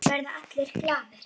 Verða allir glaðir?